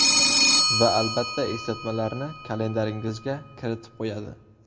Va albatta, eslatmalarni kalendaringizga kiritib qo‘yadi.